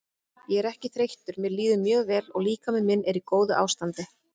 Ég er ekki þreyttur mér líður mjög vel og líkami minn er í góðu ástandi.